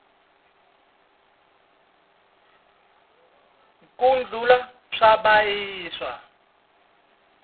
ku dlula swa vabyisa